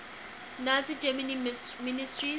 nazi germany ministers